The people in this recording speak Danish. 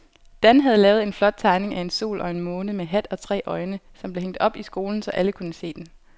Dan havde lavet en flot tegning af en sol og en måne med hat og tre øjne, som blev hængt op i skolen, så alle kunne se den.